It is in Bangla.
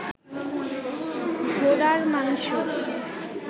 ঘোড়ার মাংস